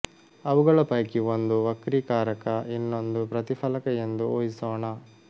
ಅವುಗಳ ಪೈಕಿ ಒಂದು ವಕ್ರೀಕಾರಕ ಇನ್ನೊಂದು ಪ್ರತಿಫಲಕ ಎಂದು ಊಹಿಸೋಣ